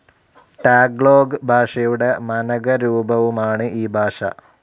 Tagalog ഭാഷയുടെ മനകരൂപവുമാണ് ഈ ഭാഷ.